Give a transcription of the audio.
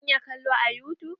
Zan iya kalo a yutub?